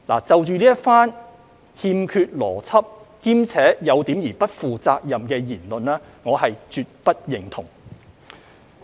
"就這番欠缺邏輯，且有點不負責任的言論，我是絕不認同。